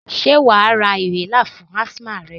Sé wàá ra inhaler fún asthma rẹ?